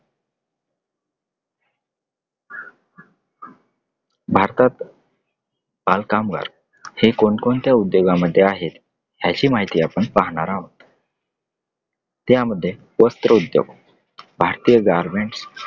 भारतात बालकामगार हे कोणकोणत्या उद्योगाआ मध्ये आहेत याची माहिती आपण पाहणार आहोत. त्यामध्ये वस्त्रउद्योग भारतीय गारमेंट्स